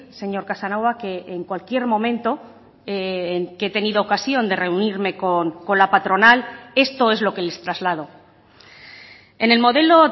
señor casanova que en cualquier momento que he tenido ocasión de reunirme con la patronal esto es lo que les traslado en el modelo